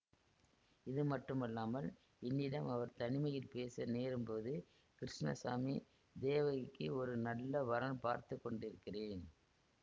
இதுமட்டுமல்லாமல் என்னிடம் அவர் தனிமையில் பேச நேரும்போது கிருஷ்ணசாமி தேவகிக்கு ஒரு நல்ல வரன் பார்த்து கொண்டிருக்கிறேன்